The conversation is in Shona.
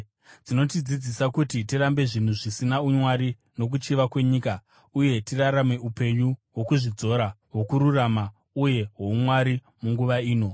Dzinotidzidzisa kuti tirambe zvinhu zvisina umwari nokuchiva kwenyika, uye tirarame upenyu hwokuzvidzora, hwokururama uye hwoumwari munguva ino,